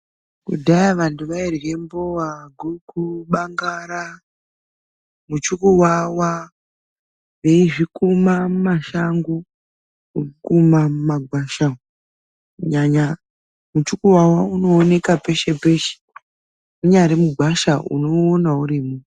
Kudhaya vantu vairye mbowa, guku, bangara muchukuwawa veizvikuma mumashango, Kukuma mumagwasha kunyanya muchukuwawa unooneka peshe peshe munyari mugwasha unouona urimo.